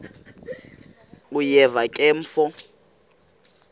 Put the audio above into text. uyeva ke mfo